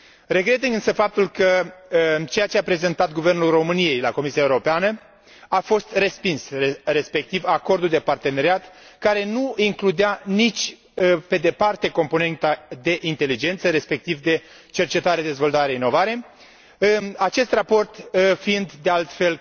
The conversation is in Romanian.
Regret însă faptul că ceea ce a prezentat Guvernul României la Comisia Europeană a fost respins, respectiv acordul de parteneriat, care nu includea nici pe departe componenta de inteligență, respectiv de cercetare, dezvoltare, inovare, acest raport fiind, de altfel,